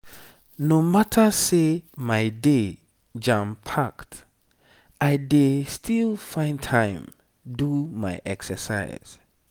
no matter say my day jam-packed i dey still find time do my exercise.